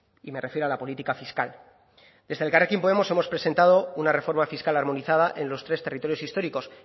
y me refiero a la política fiscal desde elkarrekin podemos hemos presentado una reforma fiscal armonizada en los tres territorios históricos